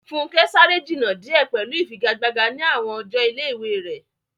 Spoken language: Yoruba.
Funke sáré jìnnà díẹ̀ pẹ̀lú ìfigagbága ní àwọn ọjọ́ ilé-ìwé rẹ̀.